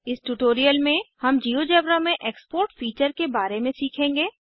इस ट्यूटोरियल में हम जिओजेब्रा में एक्सपोर्ट फीचर के बारे में सीखेंगे